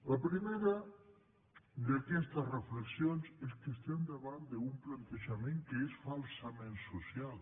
la primera d’aquestes reflexions és que estem davant d’un plantejament que és falsament social